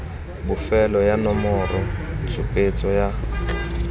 bofelo ya nomoro tshupetso ya